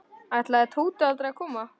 Ætlaði Tóti aldrei að koma?